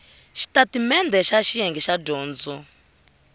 xitatimendhe xa xiyenge xa dyondzo